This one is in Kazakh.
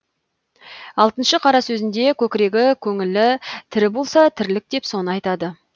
алтыншы қара сөзінде көкірегі көңілі тірі болса тірлік деп соны айтады